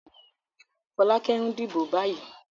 Fọ́lákẹ́ ń dìbò báyìí.